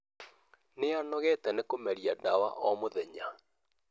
Nĩ anogete nĩ kũmeria dawa o mũthenya